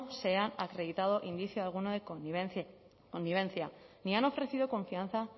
se ha acreditado indicio alguno de connivencia ni han ofrecido confianza